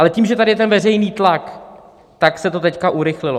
Ale tím, že tady je ten veřejný tlak, tak se to teď urychlilo.